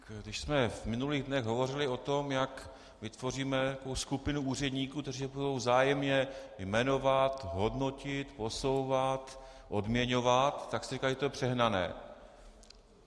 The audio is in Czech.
Když jsme v minulých dnech hovořili o tom, jak vytvoříme skupinu úředníků, kteří se budou vzájemně jmenovat, hodnotit, posouvat, odměňovat, tak jste říkali, že to je přehnané.